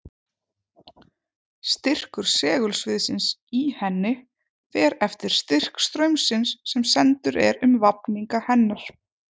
Styrkur segulsviðsins í henni fer eftir styrk straumsins sem sendur er um vafninga hennar.